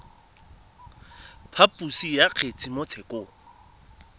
phaposo ya kgetse mo tshekong